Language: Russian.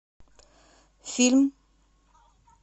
фильм